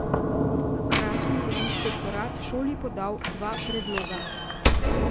Hkrati je inšpektorat šoli podal dva predloga.